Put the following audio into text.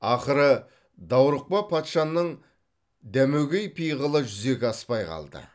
ақыры даурықпа патшаның дәмегөй пиғылы жүзеге аспай қалды